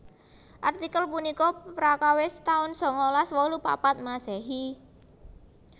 Artikel punika prakawis taun sangalas wolu papat Masehi